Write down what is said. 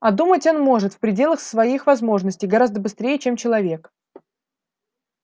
а думать он может в пределах своих возможностей гораздо быстрее чем человек